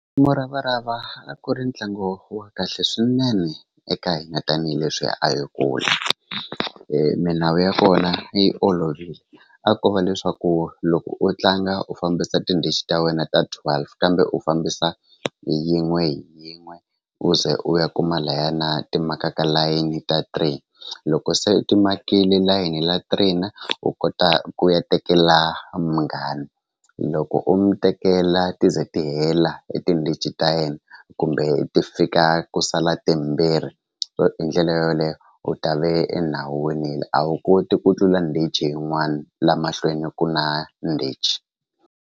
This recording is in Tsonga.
Muravarava a ku ri ntlangu wa kahle swinene eka hina tanihileswi a hi kula milawu ya kona yi olovile a ko va leswaku loko u tlanga u fambisa tindichi ta wena ta twelve kambe u fambisa hi yin'we hi yin'we u ze u ya kuma layana ti makaka layeni ta three loko se ti makile layini ya three u kota ku ya tekela munghana loko u mi tekela ti ze ti hela etindhichi ta yena kumbe ti fika ku sala timbirhi hi ndlela yoleyo u ta ve a wu koti ku tlula ndichi yin'wani la mahlweni ku na ndichi.